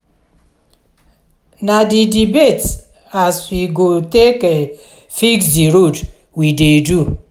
na di debate as we go take fix di road we dey do.